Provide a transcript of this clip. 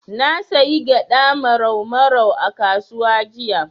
Na sayi gyaɗa Marau Marau a kasuwa jiya.